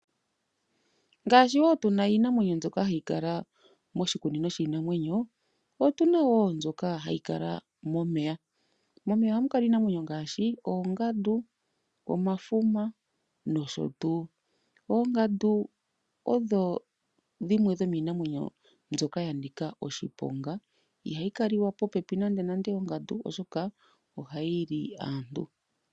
Ngaashi wo tuna iinamwenyo mbyoka hayi kala moshikunino shiinamwenyo, otuna wo mbyoka hayi kala momeya. Momeya ohamu kala iinamwenyo ngaashi, oongandu, omafuma nosho tuu. Oongandu odho dhimwe dhomiinamwenyo mbyoka yanika oshiponga, ihayi kaliwa popepi nande nande oshoka ohayi li aantu.